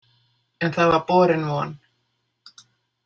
En það var borin von.